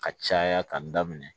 Ka caya ka daminɛ